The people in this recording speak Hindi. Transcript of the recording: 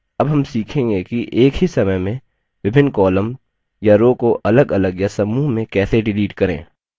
अब हम सीखेंगे कि एक ही समय में विभिन्न columns या rows को अलगअलग या समूह में कैसे डिलीट करें